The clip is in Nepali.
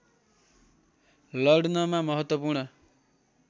लड्नमा महत्वपूर्ण